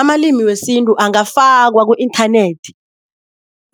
Amalimi wesintu angafakwa ku-inthanethi